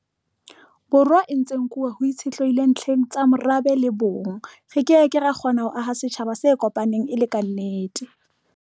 Borwa e ntse e nkuwa ho itshitlehilwe ntlheng tsa morabe le bong, re ke ke ra kgona ho aha setjhaba se kopaneng e le kannete.